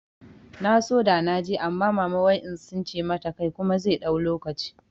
Na so da naje amma mama wai in tsince mata kai kuma zai ɗau lokaci